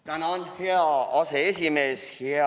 Tänan, hea aseesimees!